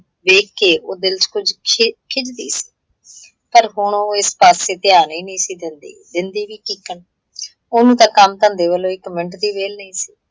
ਵੇਖਕੇ ਉਹ ਦਿੱਲ ਚ ਕੁੱਝ ਖਿੱਜ ਗਈ ਸੀ, ਪਰ ਹੁਣ ਉਹ ਇਸ ਪਾਸੇ ਧਿਆਨ ਹੀ ਨਹੀਂ ਸੀ ਦਿੰਦੀ। ਦਿੰਦੀ ਵੀ ਕੀੱਕਣ ਉਹਨੂੰ ਤਾਂ ਕੰਮ - ਧੰਦੇ ਵੱਲੋਂ ਇੱਕ ਮਿੰਟ ਦੀ ਵਿਹਲ ਨਹੀਂ ਸੀ।